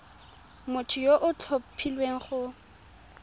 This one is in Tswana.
motho yo o tlhophilweng go